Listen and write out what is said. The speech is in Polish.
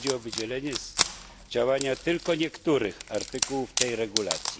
Chodzi o wydzielenie z działania tylko niektórych artykułów tej regulacji.